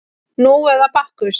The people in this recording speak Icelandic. Nú eða Bakkus